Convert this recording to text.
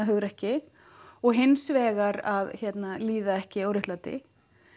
hugrekki og hins vegar að líða ekki óréttlæti